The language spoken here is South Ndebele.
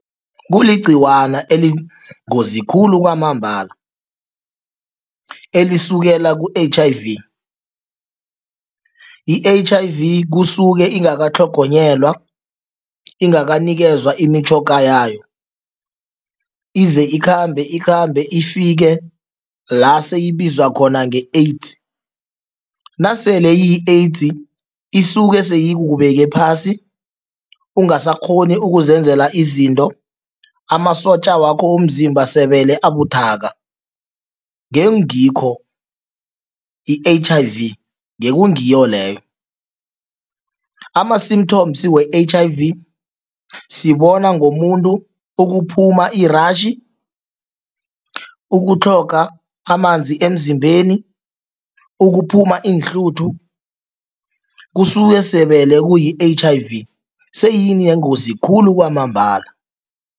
Kuligcikwana eliyingozi khulu kwamambala, elisukela ku-H_I_V. I-H_I_V kusuke ingakatlhogonyelwa, ingakanikezwa imitjhoga yayo ize ikhambe ikhambe, ifike la seyibizwa khona nge-AIDS. Nasele iyi-AIDS isuke seyikubeke phasi, ungasakghoni ukuzenzela izinto, amasotja wakho womzimba sebele abuthaka, ngengikho i-H_I-V, ngekungiyo leyo. Ama-symptoms we-H_I_V sibona ngomuntu ukuphuma i-rash, ukutlhoga amanzi emzimbeni, ukuphuma iinhluthu, kusuke sebele kuyi-H_I_V seyini yengozi khulu kwamambala.